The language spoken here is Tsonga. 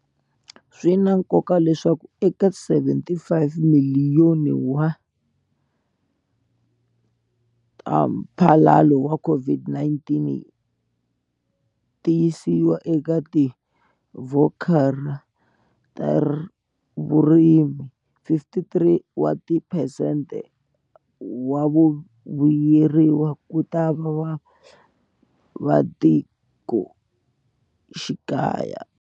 Swi na nkoka leswaku eka R75 timiliyoni ta mphalalo wa COVID-19 ti yisiwa eka tivhochara ta vurimi, 53 wa tiphesente wa vavuyeriwa kutava vavasati va matikoxikaya.